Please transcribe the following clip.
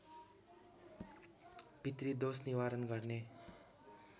पितृदोष निवारण गर्ने